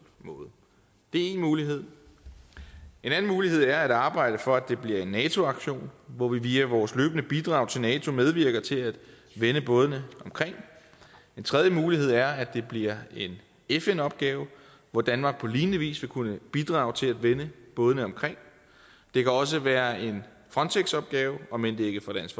måde det er én mulighed en anden mulighed er at arbejde for at det bliver en nato aktion hvor vi via vores løbende bidrag til nato medvirker til at vende bådene omkring en tredje mulighed er at det bliver en fn opgave hvor danmark på lignende vis vil kunne bidrage til at vende bådene omkring det kan også være en frontex opgave om end det ikke for dansk